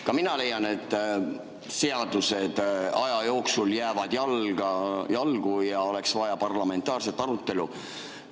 Ka mina leian, et seadused aja jooksul jäävad jalgu ja oleks vaja parlamentaarset arutelu.